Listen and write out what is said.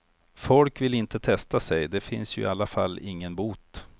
Folk vill inte testa sig, det finns ju i alla fall ingen bot.